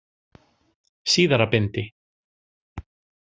Síðara bindi.